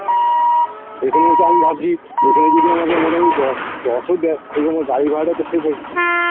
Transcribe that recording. এখানে এসেও আমি ভাবছি তো এখন জদি আমাকে মোটামুটি দশ দশ ও দেয় তবু আমার গাড়ি ভাড়াটা তো save হয়ে না